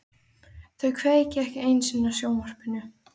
Þau kveikja ekki einu sinni á sjónvarpinu.